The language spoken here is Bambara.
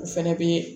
O fɛnɛ bɛ